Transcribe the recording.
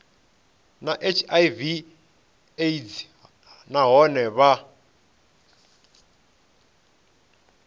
na hiv aids nahone vha